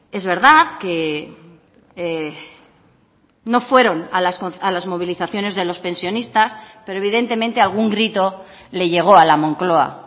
es verdad que no fueron a las movilizaciones de los pensionistas pero evidentemente algún grito le llego a la moncloa